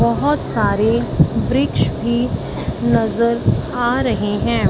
बहुत सारे वृक्ष भी नजर आ रहे हैं।